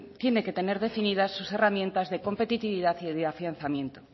tiene que tener definidas sus herramientas de competitividad y de afianzamiento